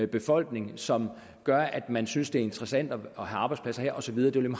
befolkning som gør at man synes det er interessant at have arbejdspladser her og så videre det vil